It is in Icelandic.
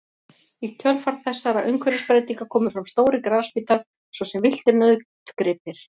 Í kjölfar þessara umhverfisbreytinga komu fram stórir grasbítar svo sem villtir nautgripir.